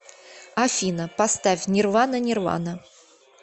афина поставь нирвана нирвана